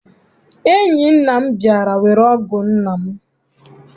Enyi nna m bịara were ọgụ nna m.